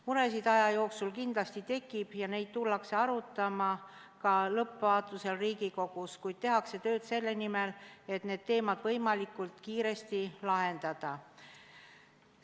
Muresid aja jooksul kindlasti tekib ja neid tullakse arutama ka lõppvaatlusel Riigikogus, kuid tehakse tööd selle nimel, et need teemad võimalikult kiiresti lahendada.